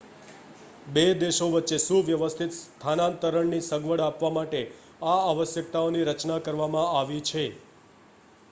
બે દેશો વચ્ચે સુવ્યવસ્થિત સ્થાનાંતરણની સગવડ આપવા માટે આ આવશ્યકતાઓની રચના કરવામાં આવી છે